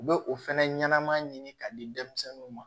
U bɛ o fɛnɛ ɲɛnɛma ɲini ka di denmisɛnninw ma